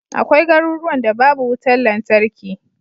Akwai garuruwan da babu wutar lantarki.